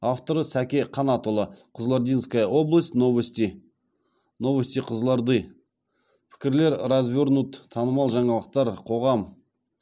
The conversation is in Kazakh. авторы сәке қанатұлы кызылординская область новости новости кызылорды пікірлер развернуть танымал жаңалықтар қоғам